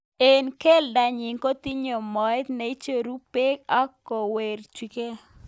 Eng keldo nyi kotinye moet neicheru bek ak kokwerukei.